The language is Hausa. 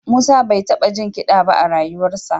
Musa bai taɓa jin kiɗa ba a rayuwarsa